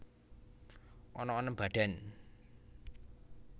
Ana enem badan